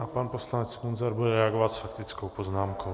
A pan poslanec Munzar bude reagovat s faktickou poznámkou.